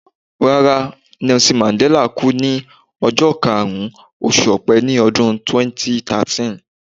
Rárá, Nelson Mandella kú ní ọjọ́ karùn-ún, oṣù Ọpẹ ní ọdún 2013.